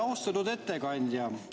Austatud ettekandja!